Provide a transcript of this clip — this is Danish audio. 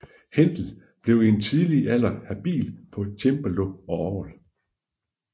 Händel blev i en tidlig alder habil på cembalo og orgel